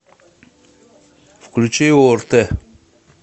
включи орт